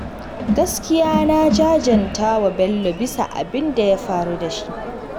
Gaskiya na jajanta wa Bello bisa abin da ya faru da shi.